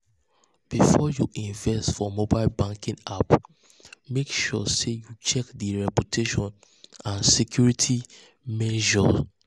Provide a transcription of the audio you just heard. before you invest for mobile banking app mek sure sey you check di reputation and security measures.